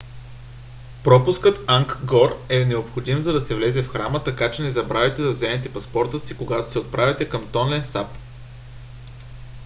пропускът ангкор е необходим за да се влезе в храма така че не забравяйте да вземете паспорта си когато се отправяте към тонле сап